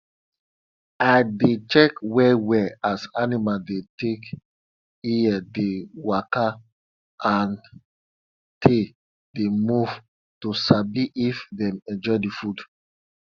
i dey check well well as animal dey take ear dey waka and tail dey move to sabi if dem enjoy d food